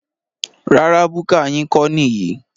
Rárá búkà yín kọ́ níyì